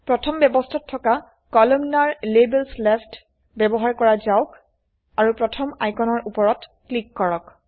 প্ৰথম ব্যবস্থাত থকা কলামনাৰ - লেবেলছ leftব্যবহাৰ কৰা যাওক আৰু প্ৰথম আইকনৰ উপৰত ক্লিক কৰক